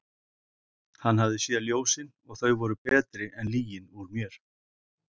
Hann hafði séð ljósin og þau voru betri en lygin úr mér.